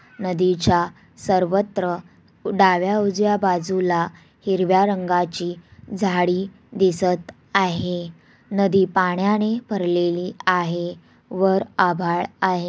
नदीच्या सर्वत्र डाव्या उजव्या बाजूला हिरव्या रंगाची झाडी दिसत आहे। नदी पाण्याने भरलेली आहे। वर आभाळ आहे।